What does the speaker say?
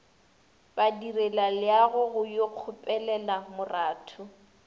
badirelaleago go yo kgopelela moratho